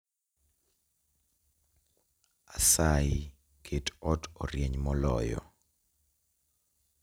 Asayi ket ot orieny moloyo